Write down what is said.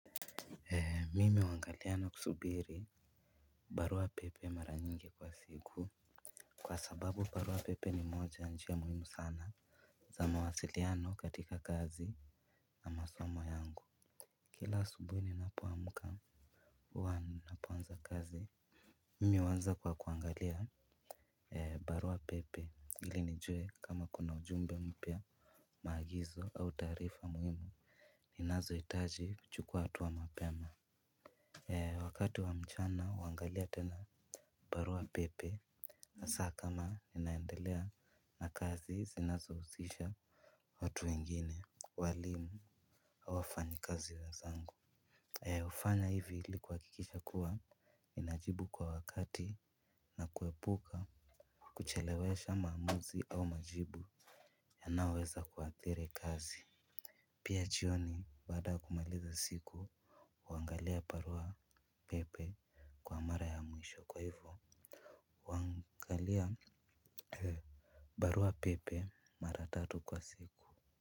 Mimi huangalia na kusubiri. Barua pepe mara nyingi kwa siku. Kwa sababu barua pepe ni moja ya njia muhimu sana za mawasiliano katika kazi na masomo yangu. Kila asubuhi ninapoamka huwa napoanza kazi. Mimi huanza kwa kuangalia barua pepe ili nijue kama kuna ujumbe mpya. Maagizo au taarifa muhimu ninazo hitaji kuchukua hatua mapema wakati wa mchana huangalia tena barua pepe. Na saa kama ninaendelea na kazi zinazohusisha watu wengine walimu au wafanyi kazi wenzangu hufanya hivi ili kuhakikisha kuwa ninajibu kwa wakati na kuepuka kuchelewesha maamuzi au majibu yanaoweza kuathiri kazi. Pia jioni baada ya kumaliza siku huangalia barua pepe kwa mara ya mwisho kwa hivo huangalia barua pepe mara tatu kwa siku.